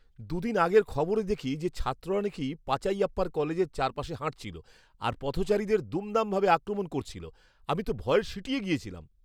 দু'দিন আগের খবরে দেখি যে ছাত্ররা নাকি পাচাইয়াপ্পার কলেজের চারপাশে হাঁটছিল আর পথচারীদের দুমদামভাবে আক্রমণ করছিল, আমি তো ভয়ে সিঁটিয়ে গেছিলাম।